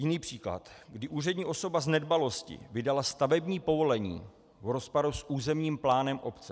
Jiný příklad, kdy úřední osoba z nedbalosti vydala stavební povolení v rozporu s územním plánem obce.